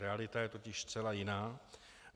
Realita je totiž zcela jiná.